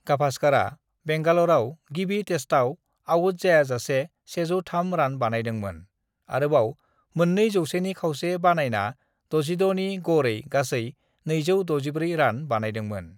"गाभासकारा बेंगालराव गिबि टेस्टआव आउटजायाजासे 103 रान बानायदोंमोन, आरोबाव मोन्नै जौसेनि खावसे बानायना 66 नि गड़ै गासै 264 रान बानायदोंमोन।"